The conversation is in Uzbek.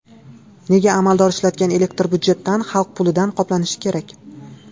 Nega amaldor ishlatgan elektr budjetdan, xalq pulidan qoplanishi kerak?